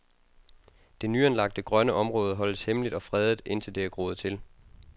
Det nyanlagte grønne område holdes hemmeligt og fredet, indtil det er groet til.